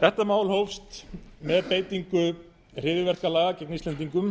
þetta mál hófst með beitingu hryðjuverkalaga gegn íslendingum